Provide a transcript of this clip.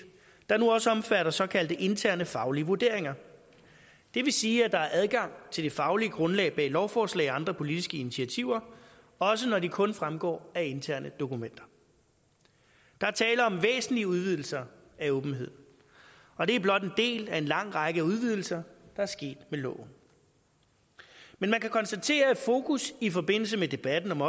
der nu også omfatter såkaldte interne faglige vurderinger det vil sige at der er adgang til det faglige grundlag bag lovforslag og andre politiske initiativer også når de kun fremgår af interne dokumenter der er tale om væsentlige udvidelser af åbenhed og det er blot en del af en lang række udvidelser der er sket med loven men man kan konstatere at fokus i forbindelse med debatten om